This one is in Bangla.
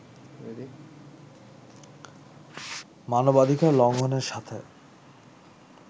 মানবাধিকার লঙ্ঘনের সাথে